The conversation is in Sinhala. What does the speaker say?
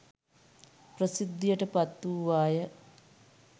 ප්‍රසිද්ධියට පත් වූවාය.